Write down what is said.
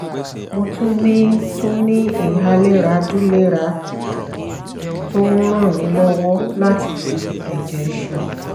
mo tún ní tún ní inhalẹ́ra dulera tó ń ràn mí lọ́wọ́ láti fi ẹ̀jẹ̀ ṣan